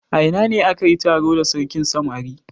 A ina ne aka yi taro da sarkin samari?